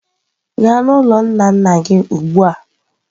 Gaa n'ụlọ nna nna gị ugbu a!.